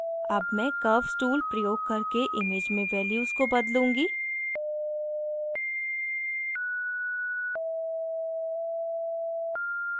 अब मैं curves tool प्रयोग करके image में values को बदलूँगी